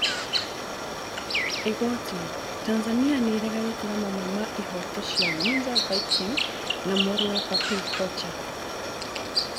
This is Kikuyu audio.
Igooti: Tanzania nĩĩreganĩte na mamwe ma ihooto cia Nguza Viking na mũrũwe Papii Kocha